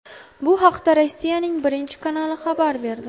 Bu haqda Rossiyaning Birinchi kanali xabar berdi.